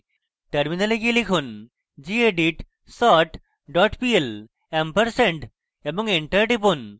terminal গিয়ে লিখুন: gedit sort pl ampersand এবং enter টিপুন